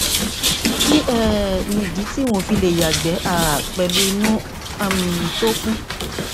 kí um nìdí tí n ò fi lè yàgbẹ um pẹlú inú um tó kún